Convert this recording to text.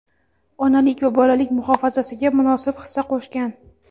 onalik va bolalik muhofazasiga munosib hissa qo‘shgan;.